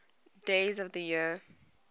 days of the year